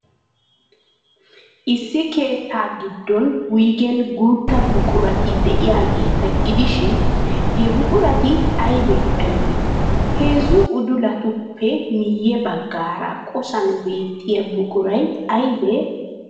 Issi keettaa giddon wuygen guutta buqurati de'iyaageeta gidishin, he buqurati aybee aybee? Heezzu udulatuppe miyye baggaara qosan beettiyaa buquray aybee?